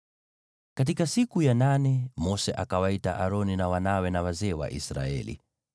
Katika siku ya nane, Mose akawaita Aroni na wanawe, na wazee wa Israeli.